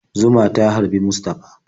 Zuma ta harbi Mustafa.